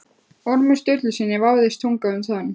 Ormi Sturlusyni vafðist tunga um tönn.